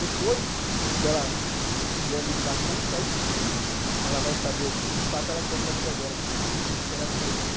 Depois que ela tiver lido bastante, aí sim ela vai saber o quê que, de fato, ela quer para a vida dela, que tipo de livro que ela quer ler.